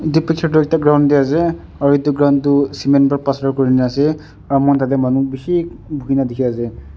etu picture dae ekta ground dae ase aro etu ground tho cement ba plaster kurina ase aro mo kan tate manu bishi buina tiki ase.